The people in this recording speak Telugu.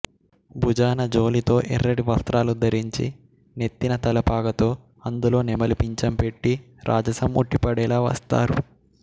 భుజాన జోలితో ఎర్రటి వస్త్రాలు ధరించి నెత్తిన తలపాగతొ అందులో నెమలి పించం పెట్టి రాజసం ఉట్టిపడేలా వస్తారు